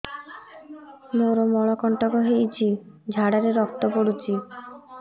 ମୋରୋ ମଳକଣ୍ଟକ ହେଇଚି ଝାଡ଼ାରେ ରକ୍ତ ପଡୁଛି